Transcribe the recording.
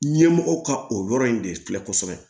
Ɲɛmɔgɔw ka o yɔrɔ in de filɛ kosɛbɛ